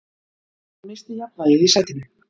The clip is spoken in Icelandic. Hann missti jafnvægið í sætinu.